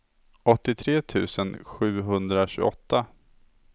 åttiotre tusen sjuhundratjugoåtta